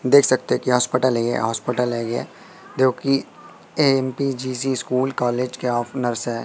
देख सकते हो की हॉस्पिटल है ये हॉस्पिटल है ये जो की ए_एम_पी_जी_जी स्कूल कॉलेज के ओफ नरस--